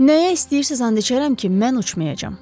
Nəyə istəyirsiz and içərəm ki, mən uçmayacam.